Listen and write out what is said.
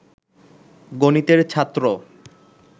গণিতের ছাত্র